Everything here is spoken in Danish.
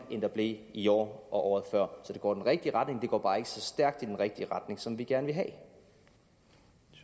end der blev i år og året før så det går i den rigtige retning det går bare ikke så stærk i den rigtige retning som vi gerne